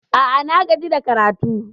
A'a, na gaji da karatu.